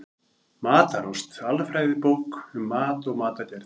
Matarást: Alfræðibók um mat og matargerð.